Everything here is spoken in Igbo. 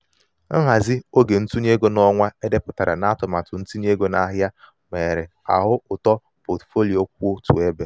nhazi um oge ntụnye ego n'ọnwa um e depụtara um n'atụmatụ ntinye ego n'ahịa mere a hụ uto potfolio kwụ otu ebe.